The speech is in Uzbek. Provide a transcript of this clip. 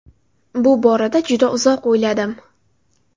Bu borada juda uzoq o‘yladim.